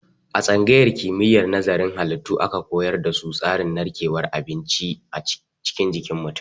A tsangayar kimiyyar nazarin halittu aka koyar da su tsarin narkewar abinci a cikin mutum.